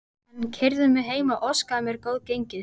Hann keyrði mig heim og óskaði mér góðs gengis.